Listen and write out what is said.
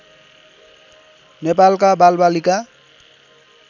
नेपालका बालबालिका